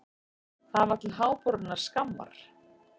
Það var til háborinnar skammar.